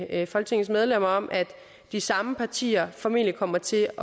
alle folketingets medlemmer om at de samme partier formentlig kommer til